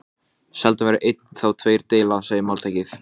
Þorbjörn Þórðarson: Voru þessar lóðir boðnar út?